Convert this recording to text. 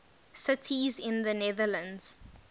cities in the netherlands